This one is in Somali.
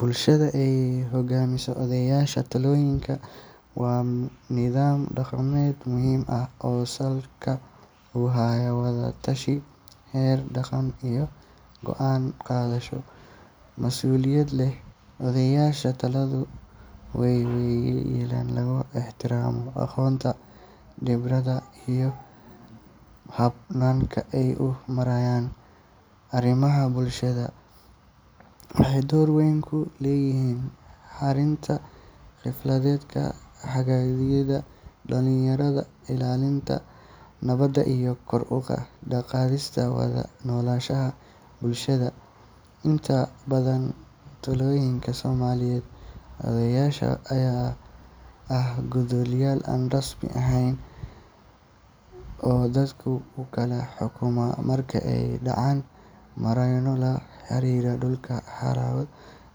Bulshada ay hogaamiyaan odayaasha tuulooyinka waa nidaam dhaqameed muhiim ah oo salka ku haya wada tashi, xeer dhaqan iyo go’aan qaadasho mas’uuliyad leh. Odayaasha tuuladu waa waayeelka lagu ixtiraamo aqoonta, khibradda iyo hannaanka ay u maareeyaan arrimaha bulshada. Waxay door weyn ku leeyihiin xalinta khilaafaadka, hagidda dhalinyarada, ilaalinta nabadda iyo kor u qaadista wada noolaanshaha bulshada. Inta badan tuulooyinka Soomaaliyeed, odayaasha ayaa ah garsoorayaal aan rasmi ahayn oo dadka u kala xukuma marka ay dhacaan murano la xiriira dhul, xoolo,